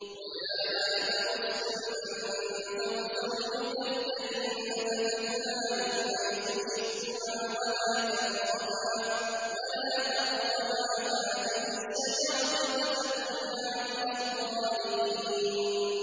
وَيَا آدَمُ اسْكُنْ أَنتَ وَزَوْجُكَ الْجَنَّةَ فَكُلَا مِنْ حَيْثُ شِئْتُمَا وَلَا تَقْرَبَا هَٰذِهِ الشَّجَرَةَ فَتَكُونَا مِنَ الظَّالِمِينَ